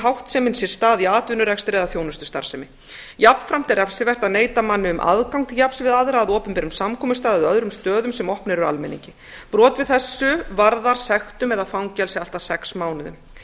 háttsemin sér stað í atvinnurekstri eða þjónustustarfsemi jafnframt er refsivert að neita manni um aðgang til jafns við aðra að opinberum samkomustað eða öðrum stöðum sem opnir eru almenningi brot við þessu varðar fangelsi allt að sex mánuðum